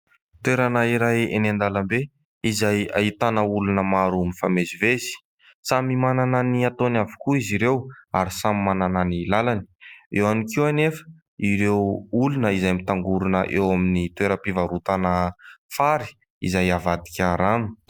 Toerana iray eny an-dalambe izay ahitana olona maro mifamezivezy. Samy manana ny ataony avokoa izy ireo ary samy manana ny lalany. Eo ihany koa anefa ireo olona izay mitangorona eo amin'ny toeram-pivarotana fary izay avadika rano.